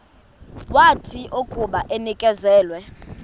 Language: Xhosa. wathi akuba enikezelwe